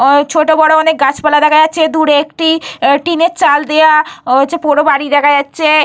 ছোট বড়ো অনেক গাছপালা দেখা যাচ্ছে। দূরে একটি টিনের চাল দেওয়া হচ্ছে পোড়ো বাড়ি দেখা যাচ্ছে।